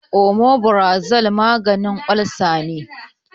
Omeprazole maganin olsa ne.